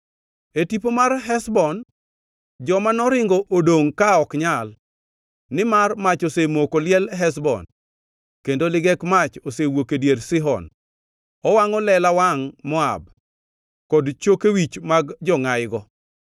“E tipo mar Heshbon joma noringo odongʼ ka ok nyal, nimar mach osemoko liel Heshbon kendo ligek mach osewuok e dier Sihon; owangʼo lela wangʼ Moab, kod choke wich mag jongʼayigo!